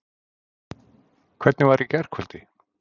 Hvernig var í gærkvöldi?